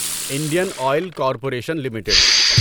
Indian oil corporation limited